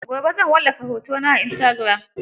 Gobe zan wallafa hotona a istagiram.